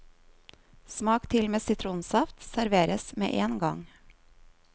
Smak til med sitronsaft, serveres med én gang.